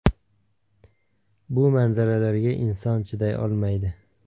Bu manzaralarga inson chiday olmaydi.